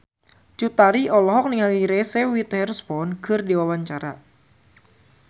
Cut Tari olohok ningali Reese Witherspoon keur diwawancara